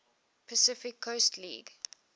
pacific coast league